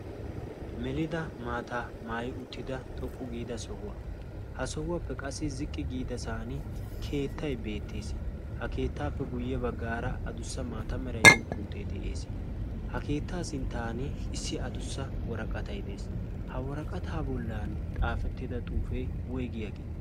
melida maataa maayi uttida xoqqu giida sohuwaa ha sohuwaappe qassi ziqqi giidasan keettai beettees ha keettaappe guyye baggaara adussa maata meraiddiyoppe utee de'ees ha keettaa sinttan issi adussa waraqatay de'ees ha waraqataa bollan xaafettida xuufee woygiyaagee